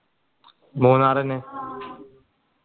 മൂന്നാറിന്